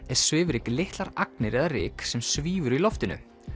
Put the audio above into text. er svifryk litlar agnir eða ryk sem svífur í loftinu